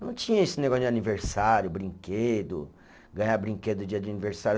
Não tinha esse negócio de aniversário, brinquedo, ganhar brinquedo dia de aniversário.